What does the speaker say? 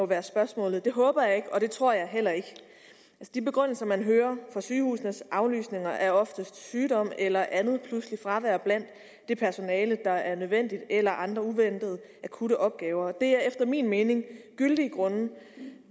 være spørgsmålet det håber jeg ikke og det tror jeg heller ikke de begrundelser man hører for sygehusenes aflysninger er oftest sygdom eller andet pludseligt fravær blandt det personale der er nødvendigt eller andre uventede akutte opgaver det er efter min mening gyldige grunde